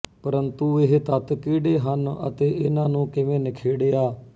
ਪਰੰਤੂ ਇਹ ਤੱਤ ਕਿਹੜੇ ਹਨ ਅਤੇ ਇਨ੍ਹਾਂ ਨੂੰ ਕਿਵੇਂ ਨਿਖੇੜਿਆ